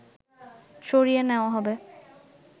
সরিয়ে নেওয়া হবে